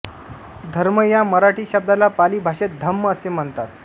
धर्म या मराठी शब्दाला पाली भाषेत धम्म असे म्हणतात